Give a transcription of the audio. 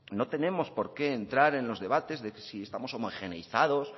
no tenemos por qué entrar en los debates de si estamos homogeneizados